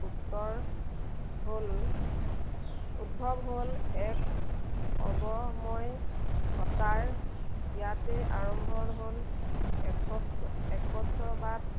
হ'ল, উদ্ভৱ হ'ল এক, সৰ্বময়, সত্বাৰ ইয়াতে আৰম্ভ হ'ল, এক~একস্ববাদ